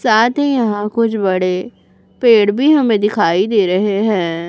साथ ही यहां कुछ बड़े पेड़ भी हमें दिखाई दे रहे हैं।